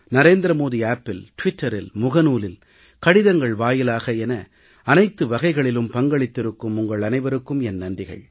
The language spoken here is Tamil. நரேந்திர மோடி செயலியில் டுவிட்டரில் பேஸ்புக்கில் கடிதங்கள் வாயிலாக என அனைத்து வகைகளிலும் பங்களித்திருக்கும் உங்கள் அனைவருக்கும் என் நன்றிகள்